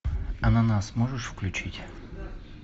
ананас можешь включить